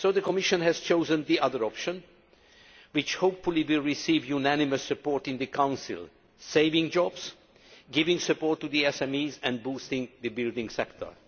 Therefore, the Commission has chosen the other option, which hopefully will receive unanimous support in the Council saving jobs, giving support to the SMEs and boosting the building sector.